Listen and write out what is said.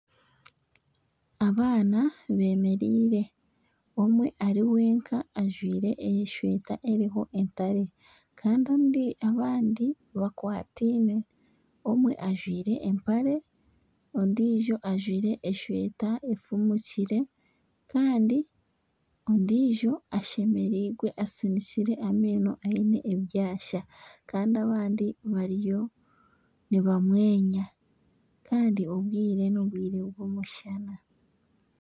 Abaana beemereire, omwe eri wenka ajwire esweta eriho entare kandi abandi bakwataine omwe ajwire empare ondiijo ajwire esweta efumukire kandi ondiijo ashemereirwe asinikire amaino aine ebyasa kandi abandi bariyo nibamwenya kandi obwire n'obwire bw'omushana